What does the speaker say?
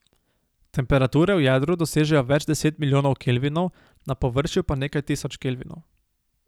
Temperature v jedru dosežejo več deset milijonov Kelvinov, na površju pa nekaj tisoč Kelvinov.